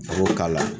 A b'o k'a la